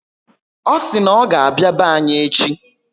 O si na oga abịa be anyị echi